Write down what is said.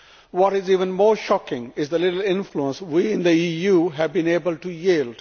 What is even more shocking is how little influence we in the EU have been able to yield.